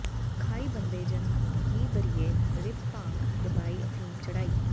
ਖਾਇ ਬੰਧੇਜਨ ਕੀ ਬਰੀਐ ਨਰਿਪ ਭਾਂਗ ਚਬਾਇ ਅਫੀਮ ਚੜਾਈ